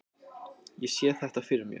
Ég sé þetta fyrir mér.